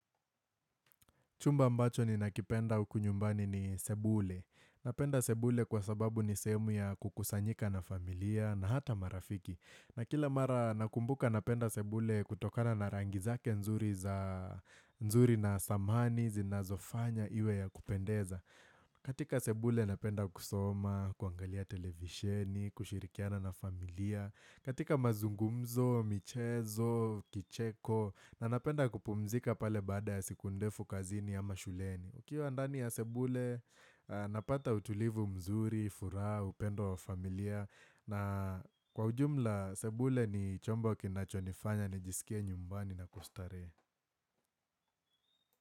Chumba mbacho ninakipenda uku nyumbani ni sebule. Napenda sebule kwa sababu ni sehemu ya kukusanyika na familia na hata marafiki. Na kila mara nakumbuka napenda sebule kutokana na rangi zake nzuri na samani zinazofanya iwe ya kupendeza. Katika sebule napenda kusoma, kuangalia televisheni, kushirikiana na familia. Katika mazungumzo, michezo, kicheko, na napenda kupumzika pale baada ya siku ndefu kazini ama shuleni. Ukiwa ndani ya sebule, napata utulivu mzuri, furaha, upendo wa familia. Na kwa ujumla, sebule ni chombo kinachonifanya, nijisikia nyumbani na kustarehe.